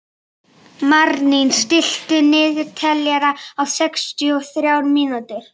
Marlín, stilltu niðurteljara á sextíu og þrjár mínútur.